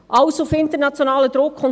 Alles auf internationalen Druck hin.